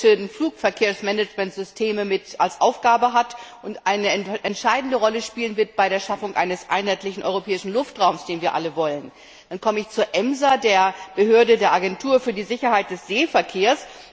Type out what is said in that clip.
a. die europäischen Flugverkehrsmanagementsysteme als Aufgabe hat und eine entscheidende Rolle spielen wird bei der Schaffung eines einheitlichen europäischen Luftraums, den wir alle wollen. Dann komme ich zur EMSA, der Agentur für die Sicherheit des Seeverkehrs.